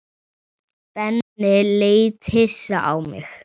Benni leit hissa á mig.